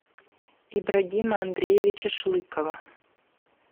ибрагима андреевича шлыкова